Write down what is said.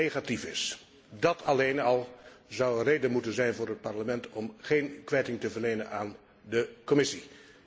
Dat alleen al zou een reden moeten zijn voor het Parlement om geen kwijting te verlenen aan de Commissie.